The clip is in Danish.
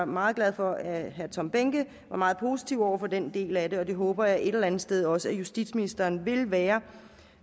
meget glad for at herre tom behnke er meget positiv over for den del af det og det håber jeg et eller andet sted også at justitsministeren vil være